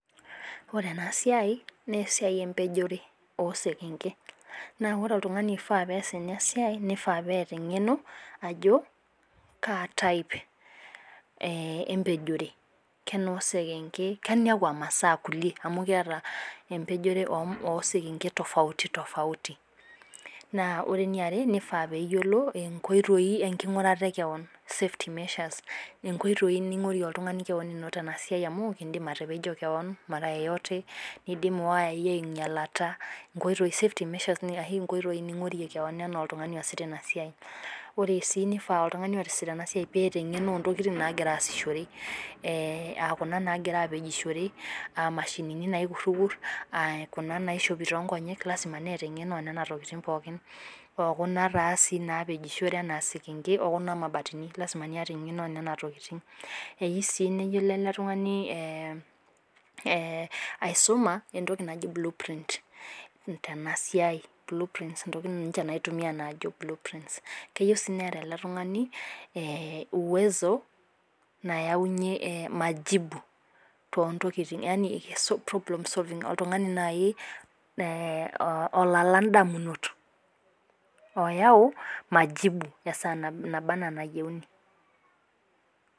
Ore ena siai ,naa esiai empejore oo sekenke. naa ore oltungani oifaa pees ena siai. nifaa peeta eng'eno ajo. kaa type empejore. kenoo sekenke. keniakua masaa amu kiata empejoree oo sekenke tofauti .naa ore eniare nifaa pee eyiolo nkoitoi enkingurata e kewon safety measures. inkoitoi ningorie oltungani kewon tena siai. amu idim atepejo oltungani kewon. nidim iwayai aingialata. inkoitoi ningorie kewon. nifaa sii pee iyiolou enkoitoi, aa Kuna naagira apejoshore.aa mashinini naikururkut. lasima neeta eng'eno oo nena tokitin pookin. lasima niyata eng'eno oo nena tokitin. eyieu sii neyiolo ele tungani ee aisuma entoki naji blue print tena siai. lkeuieu sii neeta ele tungani ayau. majibu esaa anaa enayieuni